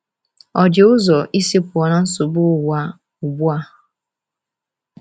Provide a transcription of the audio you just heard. Ọ dị ụzọ isi pụọ na nsogbu ụwa ugbu a?